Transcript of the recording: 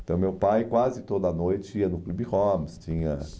Então, meu pai quase toda noite ia no Clube Homes. Tinha